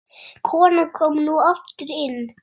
Konan kom nú aftur inn.